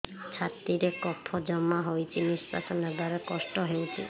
ଛାତିରେ କଫ ଜମା ହୋଇଛି ନିଶ୍ୱାସ ନେବାରେ କଷ୍ଟ ହେଉଛି